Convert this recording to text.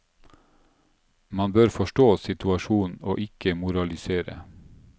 Man bør forstå situasjonen og ikke moralisere.